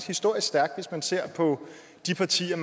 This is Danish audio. historisk stærkt hvis man ser på de partier